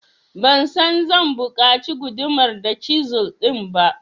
Ban san zan buƙaci gudumar da cisil din ba.